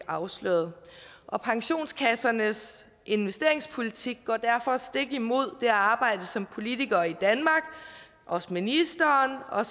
afsløret og pensionskassernes investeringspolitik går derfor stik imod det arbejde som politikere i danmark også ministeren og